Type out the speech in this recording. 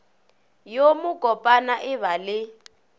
yo mokopana e ba le